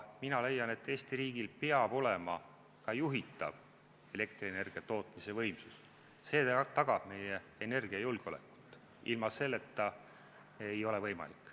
Mina leian, et Eesti riigil peab olema ka juhitav tootmisvõimsus, see tagab meie energiajulgeoleku, ilma selleta ei ole võimalik.